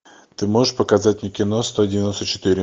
ты можешь показать мне кино сто девяносто четыре